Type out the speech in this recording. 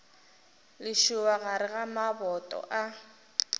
lešoba gare ga maboto a